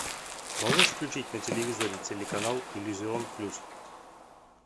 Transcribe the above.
можешь включить на телевизоре телеканал иллюзион плюс